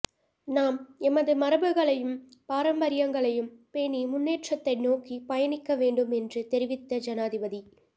நாம் எமது மரபுகளையும் பாரம்பரியங்களையும் பேணி முன்னேற்றத்தை நோக்கி பயணிக்க வேண்டும் என்று தெரிவித்த ஜனாதிபதி